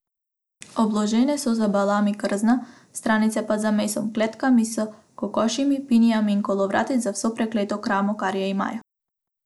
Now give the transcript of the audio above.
Obložene so z balami krzna, stranice pa z mesom, kletkami s kokošmi, pinjami in kolovrati, z vso prekleto kramo, kar je imajo.